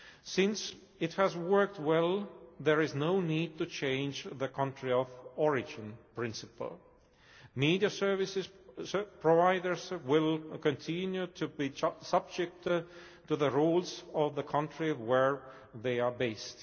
Since it has worked well, there is no need to change the country of origin' principle. Media service providers will continue to be subject to the rules of the country where they are based.